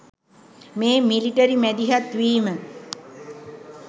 මේ මිලිටරි මැදිහත් වීම